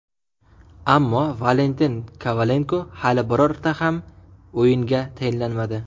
Ammo Valentin Kovalenko hali birorta ham o‘yinga tayinlanmadi.